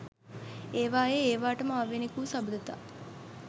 ඒවායේ ඒවාටම ආවේණික වූ සබඳතා